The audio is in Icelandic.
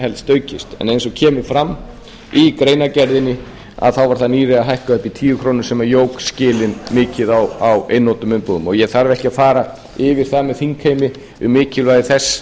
aukist en eins og kemur fram í greinargerðinni var það nýlega hækkað um í tíu komma núll núll krónur sem jók skilin mikið á einnota umbúðum ég þarf ekki að fara yfir það með þingheimi um mikilvægi þess